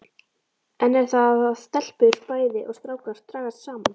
Enn er það að stelpur bæði og strákar dragast saman.